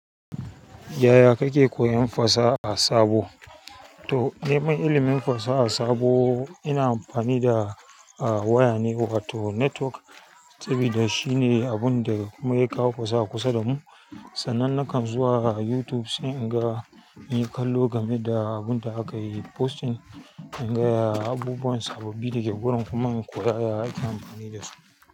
Yaya kake koyan fasaha sabo. To, ni naiman ilimin fasaha sabo ina amfani da, ah, waya ne wato netwok. Sabida shine abunda mu ya kawo fasaha kusa damu sannan nakan zuwa YouTube sai in ga inyi kallo game da abun da aka yi posting. In ga ya abubuwan sababbi da ke gurin kuma in koya yadda ake amfani da su.